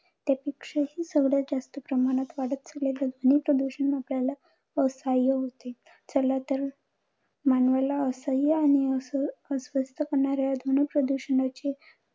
त्यापेक्षाही सर्वात जास्त प्रमाणात वाढत चाललेलं ध्वनी प्रदूषण आपल्याला असहाय्य होत. चला तर मानवाला असहाय्य आणि अस अस्वस्थ होणाऱ्या ह्या ध्वनी प्रदूषणाची